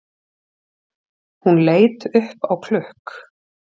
Hún leit upp á klukk